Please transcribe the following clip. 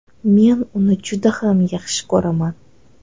Men uni juda ham yaxshi ko‘raman”.